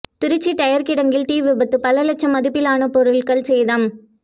Trichy tyre கிடங்கில் தீ விபத்து பல லட்சம் மதிப்பிலான பொருள்கள் சேதம்